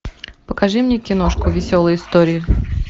покажи мне киношку веселые истории